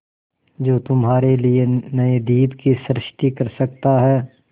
जो तुम्हारे लिए नए द्वीप की सृष्टि कर सकता है